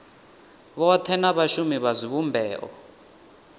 vhothe na vhashumi vha zwivhumbeo